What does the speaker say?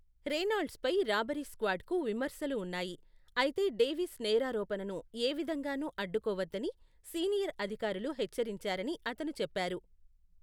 రేనాల్డ్స్పై robbery స్క్వాడ్కు విమర్శలు ఉన్నాయి, అయితే డేవిస్ నేరారోపణను ఏ విధంగానూ అడ్డుకోవద్దని సీనియర్ అధికారులు హెచ్చరించారని అతను చెప్పారు.